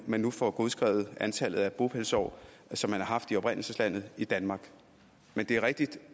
man får godskrevet antallet af bopælsår som man har haft i oprindelseslandet i danmark men det er rigtigt